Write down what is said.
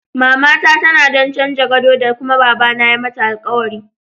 Mamata tanadon canza gado ta kuma baba na ya mata alkawari.